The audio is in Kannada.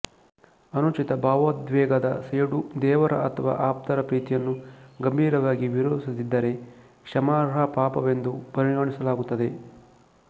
ಅನುಚಿತ ಭಾವೋದ್ವೇಗದ ಸೇಡು ದೇವರ ಅಥವಾ ಆಪ್ತರ ಪ್ರೀತಿಯನ್ನು ಗಂಭೀರವಾಗಿ ವಿರೋಧಿಸದಿದ್ದರೆ ಕ್ಷಮಾರ್ಹ ಪಾಪವೆಂದು ಪರಿಗಣಿಸಲಾಗುತ್ತದೆ